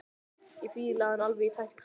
Ég fíla hann alveg í tætlur!